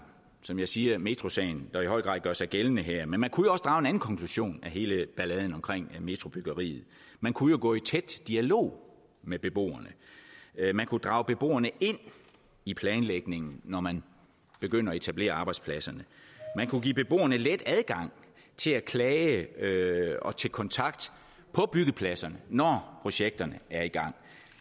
som jeg siger metrosagen der i høj grad gør sig gældende her men man kunne også drage en anden konklusion af hele balladen omkring metrobyggeriet man kunne jo gå i tæt dialog med beboerne man kunne drage beboerne ind i planlægningen når man begynder at etablere arbejdspladser man kunne give beboerne let adgang til at klage og til kontakt på byggepladserne når projekterne er i gang